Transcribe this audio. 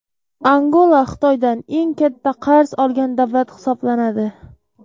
Angola Xitoydan eng katta qarz olgan davlat hisoblanadi.